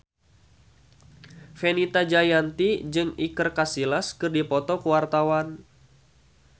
Fenita Jayanti jeung Iker Casillas keur dipoto ku wartawan